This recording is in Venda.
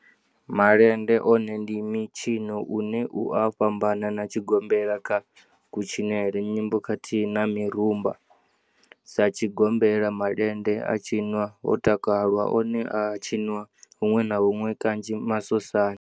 Malende one ndi mitshino une u a fhambana na tshigombela kha kutshinele, nyimbo khathihi na mirumba. Sa tshigombela, malende a tshinwa ho takalwa, one a a tshiniwa hunwe na hunwe kanzhi masosani.